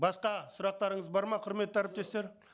басқа сұрақтарыңыз бар ма құрметті әріптестер